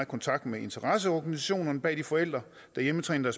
kontakt med interesseorganisationerne bag de forældre der hjemmetræner